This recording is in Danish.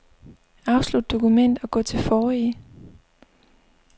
Afslut dokument og gå til forrige.